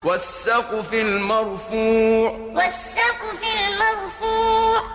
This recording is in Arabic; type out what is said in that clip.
وَالسَّقْفِ الْمَرْفُوعِ وَالسَّقْفِ الْمَرْفُوعِ